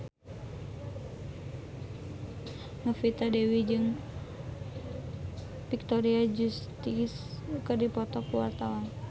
Novita Dewi jeung Victoria Justice keur dipoto ku wartawan